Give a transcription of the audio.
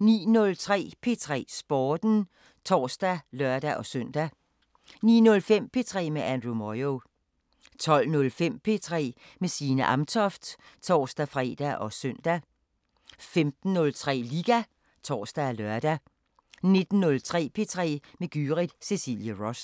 09:03: P3 Sporten (tor og lør-søn) 09:05: P3 med Andrew Moyo 12:05: P3 med Signe Amtoft (tor-fre og søn) 15:03: Liga (tor og lør) 19:03: P3 med Gyrith Cecilie Ross